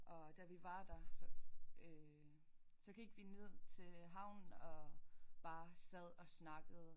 Og da vi var der så øh så gik vi ned til havnen og bare sad og snakkede